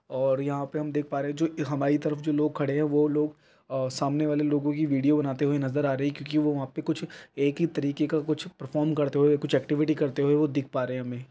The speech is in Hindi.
और यहाँ पे हम देख पा रहे हैं जो हमारी तरफ जो लोग खड़े है वो लोग सामने वाले लोग की वीडियो बनाते हुए नज़र आ रहे है क्युकी वहाँ पर एक ही तरीके का कुछ परफॉर्म करते हुए कुछ एक्टिविटी करते हुए दिख पा रहे है।